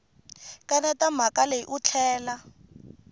kaneta mhaka leyi u tlhela